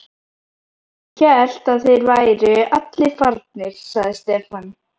Ég hélt að þeir væru allir farnir, sagði Stefán.